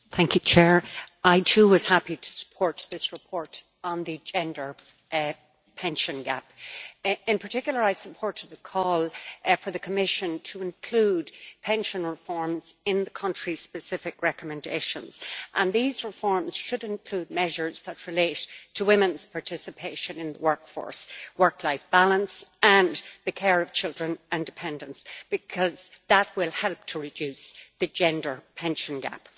Mr President, I, too, was happy to support this report on the gender pension gap. In particular, I support the call for the Commission to include pension reforms in the country specific recommendations, and these reforms should include measures that relate to women's participation in the workforce work-life balance and the care of children and dependants, because that will help to reduce the gender pension gap.